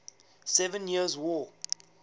seven years war